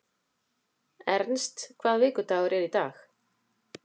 Ernst, hvaða vikudagur er í dag?